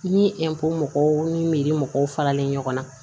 Ni mɔgɔw ni mɔgɔw faralen ɲɔgɔn na